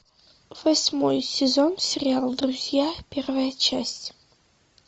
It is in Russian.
восьмой сезон сериал друзья первая часть